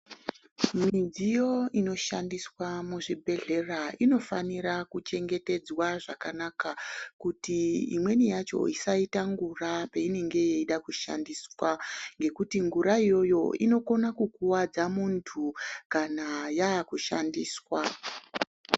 Midziyo inoshandiswa muzvibhedhlera inofanira kuchengetedzwa zvakanaka kuti imweni yacho isaita ngura peinenge yeida kushandiswa ngekuti ngura iyoyo inokone kukuwadza muntu kana yakushandiswa.